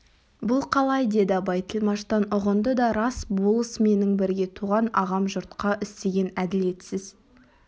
бұл қалай деді абай тілмаштан ұғынды да рас болыс менің бірге туған ағам жұртқа істеген әділетсіз